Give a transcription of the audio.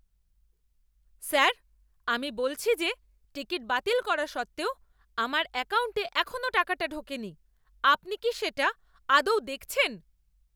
Sir! আমি বলছি যে টিকিট বাতিল করা সত্ত্বেও আমার অ্যাকাউন্টে এখনও টাকাটা ঢোকেনি। আপনি কি এটা আদৌ দেখছেন?